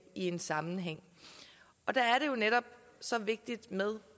i en sammenhæng og der er det jo netop så vigtigt med